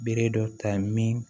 Bere dɔ ta min